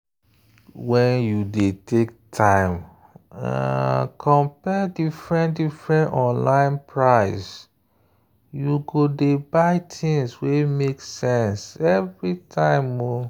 when you dey take time compare different-different online price you go dey buy things wey make sense every time.